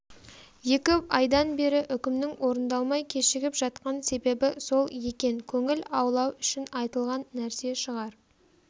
екі айдан бері үкімнің орындалмай кешігіп жатқан себебі сол екен көңіл аулау үшін айтылған нәрсе шығар